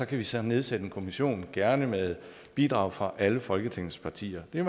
kan vi så nedsætte en kommission gerne med bidrag fra alle folketingets partier det er